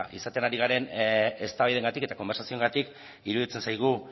izaten ari garen eztabaidengatik eta konbertsazioengatik iruditzen zaigu